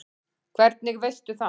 Hvernig veistu það?